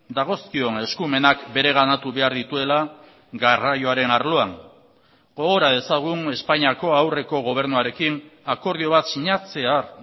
dagozkion eskumenak bereganatu behar dituela garraioaren arloan gogora dezagun espainiako aurreko gobernuarekin akordio bat sinatzear